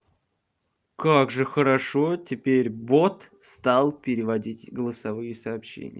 как же хорошо теперь бот стал переводить голосовые сообщения